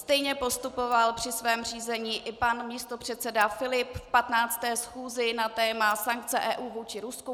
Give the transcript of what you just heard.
Stejně postupoval při svém řízení i pan místopředseda Filip v 15. schůzi na téma sankce EU vůči Rusku.